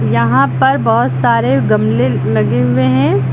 यहां पर बहोत सारे गमले लगे हुए हैं।